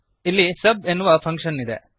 ಇಲ್ಲಿ ಸಬ್ ಎನ್ನುವ ಫಂಕ್ಶನ್ ಇರುತ್ತದೆ